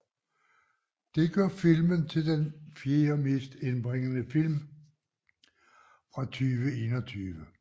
Det gør filmen til den fjerde mest indbringende film fra 2021